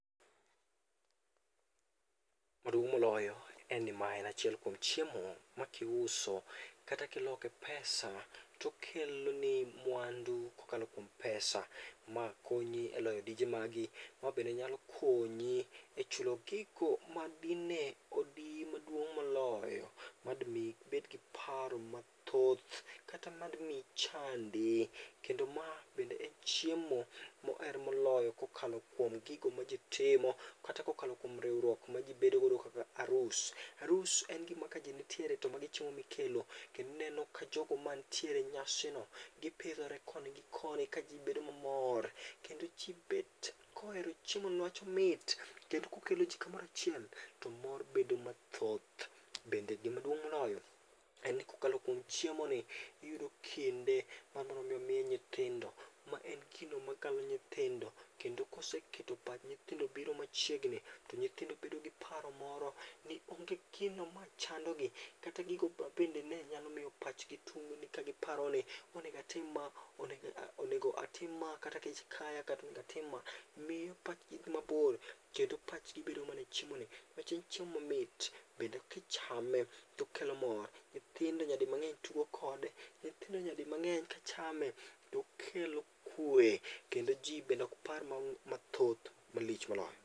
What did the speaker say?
Maduong' moloyo, en ni mae en achiel kuom chiemo ma kiuso kata kiloke pesa to okeloni mwandu kokalo kuom pesa makonyi eloyo dije magi, ma bende nyalo konyi e chulo gigo madine odiyi maduong' moloyo madimiyi ibed gi paro mathoth kata mad michandi kendo ma bende en chiemo moher moloyo kokalo kuom gigo maji timo kata kokalo kuom riwruok maji bedo godo kaka arus. Arus en gima kaji nitiere to magi chiemo mikelo to ineno kajogo mantiere e nyasino gipidhore koni gi koni kaji bedo mamor. Kendo ji bet kohero chiemono niwach omit. Kendo okeloji kamoro achiel, to mor bedo mathoth bende gimaduong' moloyo en kokalo kuom chiemoni iyudo kinde ma mine nyithindo kendo koseketo pach nyithindo bedo machiegni to nyithindo bedo gi paro moro ni onge gino machandogi kata gigo mabende ne nyalo miyo pachgi tungni ka giparo ni onego atim ma, onego atim ma, kata kech kaya, miyo opachig dhi mabor kendo pachgi bedo mana e chiemoni, nikech en chiemo ma mit, bende kichame to okelo mor, nyithindo nyadi mang'eny tugo kode, nyithindo nyadi mang'eny chame to okelo kwe, kendo ji bende ok par mathoth malich moloyo.